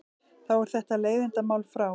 Þá er þetta leiðindamál frá.